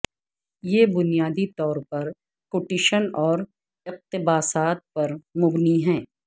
یہ بنیادی طور پر کوٹیشن اور اقتباسات پر مبنی ہے